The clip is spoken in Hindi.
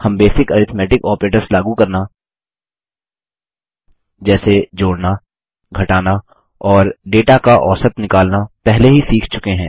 हम बेसिक अरिथ्मेटिक ऑपरेटर्स लागू करना जैसे जोड़ना घटाना और डेटा का औसत निकालना पहले ही सीख चुके हैं